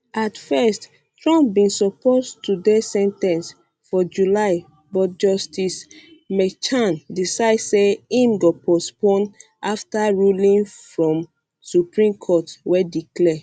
at first trump bin supposed to dey sen ten ced for july but justice merchan decide say im go postpone afta ruling from supreme court wey declare